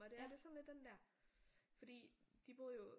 Og det er det er sådan lidt den der fordi de boede jo